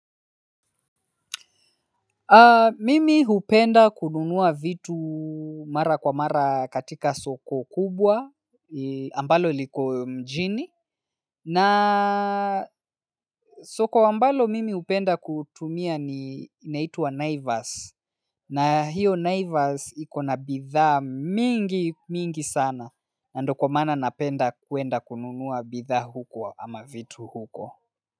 Mimi hupenda kununua vitu mara kwa mara katika soko kubwa ambalo liko mjini na soko ambalo mimi hupenda kutumia ni inaitwa naivas na hiyo naivas ikona bidhaa mingi mingi sana na ndio kwa maana napenda kuenda kununua bidhaa huko ama vitu huko.